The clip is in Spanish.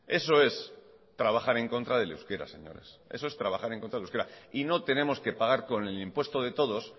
eso es trabajar en contra del euskera señores eso es trabajar en contra del euskera y no tenemos que pagar con el impuesto de todos